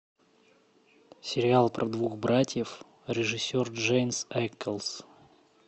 сериал про двух братьев режиссер дженсен эклс